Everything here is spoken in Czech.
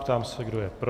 Ptám se, kdo je pro.